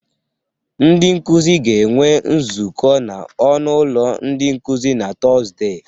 Ndị nkụzị ga-enwe nzọkụ n'ọnụ ụlọ ndị nkụzị na Tọzde.